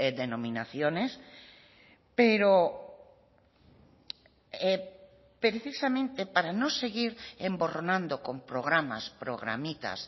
denominaciones pero precisamente para no seguir emborronando con programas programitas